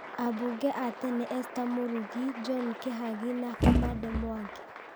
Ambunge a tene Esther Mũrugi, John Kĩhagi na Kamande Mwangi.